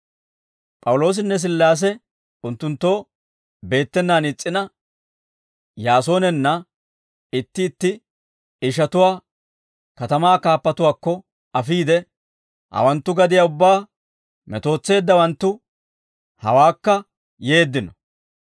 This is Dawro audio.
P'awuloosinne Sillaase unttunttoo beettenaan is's'ina, Yaasoonanne itti itti ishatuwaa katamaa kaappatuwaakko afiide, «Hawanttu gadiyaa ubbaa metootseeddawanttu, hawaakka yeeddino.